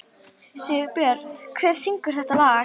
Sigurbjört, hver syngur þetta lag?